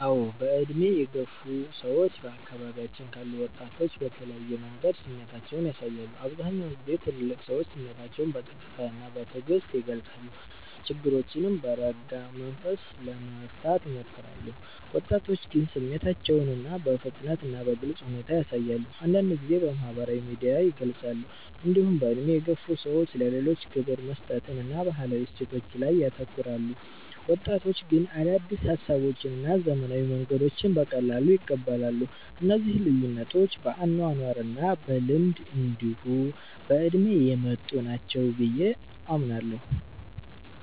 አዎ። በዕድሜ የገፉ ሰዎች በአካባቢያችን ካሉ ወጣቶች በተለየ መንገድ ስሜታቸውን ያሳያሉ። አብዛኛውን ጊዜ ትልልቅ ሰዎች ስሜታቸውን በጸጥታ እና በትዕግስት ይገልጻሉ፣ ችግሮችንም በረጋ መንገድ ለመፍታት ይሞክራሉ። ወጣቶች ግን ስሜታቸውን በፍጥነት እና በግልጽ ሁኔታ ያሳያሉ፣ አንዳንድ ጊዜም በማህበራዊ ሚዲያ ይገልጻሉ። እንዲሁም በዕድሜ የገፉ ሰዎች ለሌሎች ክብር መስጠትን እና ባህላዊ እሴቶችን ላይ ያተኩራሉ። ወጣቶች ግን አዳዲስ ሀሳቦችን እና ዘመናዊ መንገዶችን በቀላሉ ይቀበላሉ። እነዚህ ልዩነቶች በአኗኗር እና በልምድ እንዲሁ በእድሜ የመጡ ናቸው ብየ አምናለሁ።